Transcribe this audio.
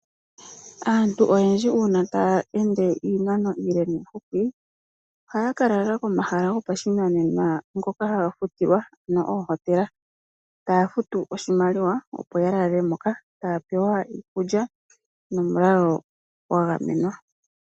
Aantu oyendji uuna taya ende iinano iile niihupi, ohaya ka lala komahala gopashinanena ngoka haga futilwa ano oohotela. Taya futu oshimaliwa opo yalale mo yo taya pewa iikulya nomulalo gwagamenwa.